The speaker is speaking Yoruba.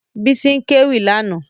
Báyọ̀ ń kéwì lánàá